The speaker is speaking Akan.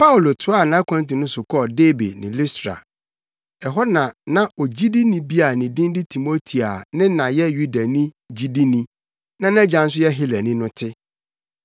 Paulo toaa nʼakwantu no so kɔɔ Derbe ne Listra. Ɛhɔ na na ogyidini bi a ne din de Timoteo a ne na yɛ Yudani gyidini na nʼagya nso yɛ Helani no te.